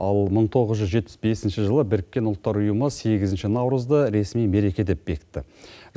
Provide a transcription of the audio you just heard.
ал мың тоғыз жүз жетпіс бесінші жылы біріккен ұлттар ұйымы сегізінші наурызды ресми мереке деп бекітті